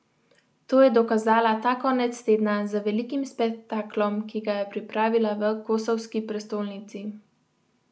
To je dokazala ta konec tedna z velikim spektaklom, ki ga je pripravila v kosovski prestolnici.